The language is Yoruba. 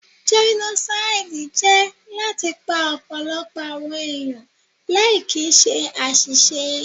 Jẹ́nósáídì jẹ́ láti pa ọ̀pọ̀lọpọ̀ àwọn èèyàn láì kìíse àṣìṣe